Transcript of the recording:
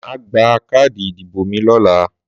Má gba káàdì ìdìbò mi lọ́la